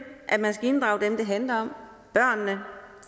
at man skal inddrage dem det handler om